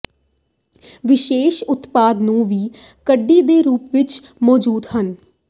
ਵਿਸ਼ੇਸ਼ ਉਤਪਾਦ ਨੂੰ ਵੀ ਕਡੀ ਦੇ ਰੂਪ ਵਿਚ ਮੌਜੂਦ ਹਨ